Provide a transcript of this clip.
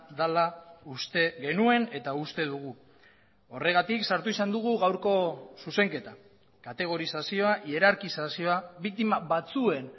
dela uste genuen eta uste dugu horregatik sartu izan dugu gaurko zuzenketa kategorizazioa ierarkizazioa biktima batzuen